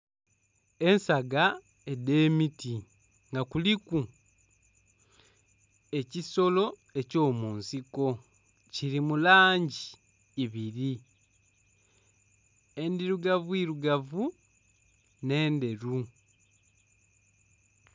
Ensaga edh'emiti nga kuliku ekisolo eky'omunsiko, kili mu langi ibiri, endhirugavuirugavu nh'endheru.